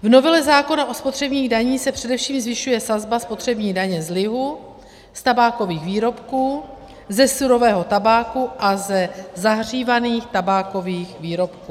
V novele zákona o spotřebních daních se především zvyšuje sazba spotřební daně z lihu, z tabákových výrobků, ze surového tabáku a ze zahřívaných tabákových výrobků.